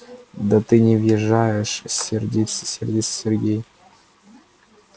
да ты не въезжаешь сердится сергей